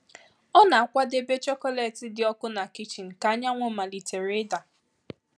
Ọ na-akwadebe chocolate dị ọkụ na kichin ka anyanwụ malitere ịda.